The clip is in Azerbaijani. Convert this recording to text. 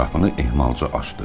Qapını ehmalca açdı.